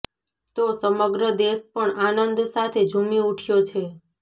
તો સમગ્ર દેશ પણ આનંદ સાથે ઝૂમી ઉઠ્યો છે